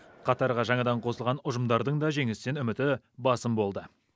қатарға жаңадан қосылған ұжымдардың да жеңістен үміті басым болды